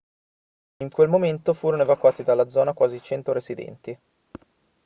in quel momento furono evacuati dalla zona quasi 100 residenti